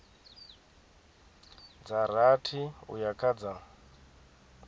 dza rathi uya kha dza